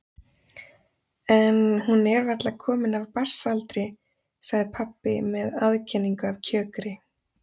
En hún er varla komin af barnsaldri, sagði pabbi með aðkenningu af kjökri.